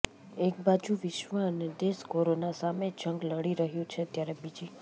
એક બાજુ વિશ્વ અને દેશ કોરોના સામે જંગ લડી રહ્યું છે ત્યારે બીજી